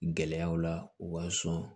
Gɛlɛyaw la u b'a sɔn